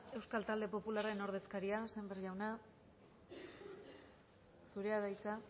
euskal talde popularren ordezkaria sémper jauna zurea da hitza